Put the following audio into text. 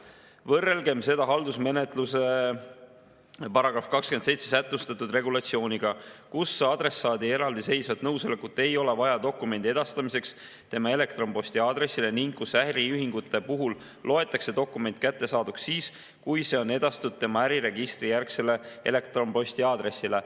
Võrrelgem seda haldusmenetluse §‑s 27 sätestatud regulatsiooniga, kus adressaadi eraldiseisvat nõusolekut ei ole vaja dokumendi edastamiseks tema elektronposti aadressile ning kus äriühingute puhul loetakse dokument kättesaaduks siis, kui see on edastatud tema äriregistrijärgsele elektronposti aadressile.